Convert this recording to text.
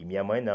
E minha mãe não.